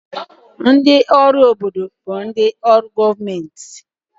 Ndị ọrụ obodo bụ ndị ọrụ gọọmentị